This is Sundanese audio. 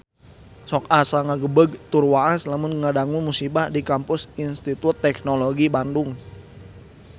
Sok asa ngagebeg tur waas lamun ngadangu musibah di Kampus Institut Teknologi Bandung